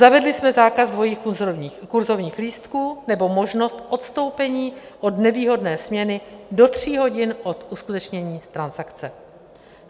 Zavedli jsme zákaz dvojích kurzovních lístků nebo možnost odstoupení od nevýhodné směny do tří hodin od uskutečnění transakce.